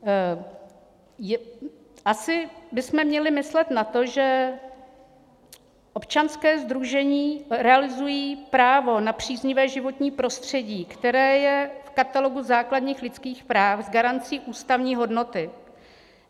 Asi bychom měli myslet na to, že občanská sdružení realizují právo na příznivé životní prostředí, které je v katalogu základních lidských práv s garancí ústavní hodnoty.